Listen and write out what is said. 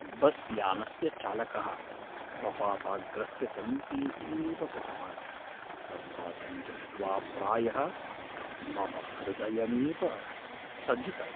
बस्यानस्य चालकः प्रपाताग्रस्य समीपे एव गतवान्, प्रपातं दृष्ट्वा प्रायः मम हृदयमेव स्थगितम्।